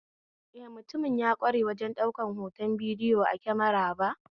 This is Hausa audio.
Eh, mutumin ya kware wajen daukar hoton bidiyo a kemara ba